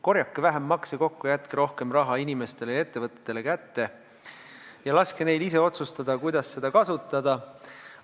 Korjake vähem makse kokku, jätke rohkem raha inimestele ja ettevõtetele kätte ja laske neil ise otsustada, kuidas seda kasutada!